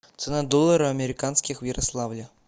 цена доллара американских в ярославле